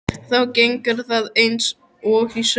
Þá gengur það eins og í sögu.